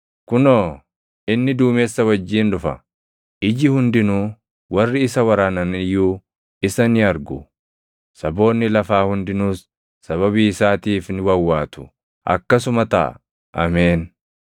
“Kunoo, inni duumessa wajjin dhufa; + 1:7 \+xt Dan 7:13\+xt* iji hundinuu, warri isa waraanan iyyuu isa ni argu;” saboonni lafaa hundinuus “sababii isaatiif ni wawwaatu.” + 1:7 \+xt Zak 12:10\+xt* Akkasuma taʼa! Ameen.